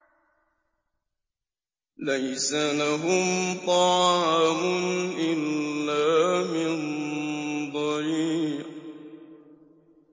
لَّيْسَ لَهُمْ طَعَامٌ إِلَّا مِن ضَرِيعٍ